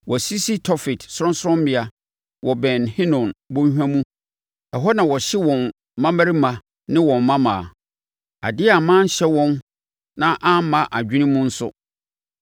Wɔasisi Tofet sorɔnsorɔmmea wɔ Ben Hinom bɔnhwa mu ɛhɔ na wɔhye wɔn mmammarima ne wɔn mmammaa. Adeɛ a manhyɛ wɔn na amma mʼadwene mu nso.